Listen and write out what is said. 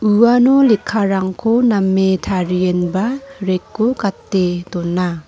uano lekkarangko name tarienba rack-o gate dona.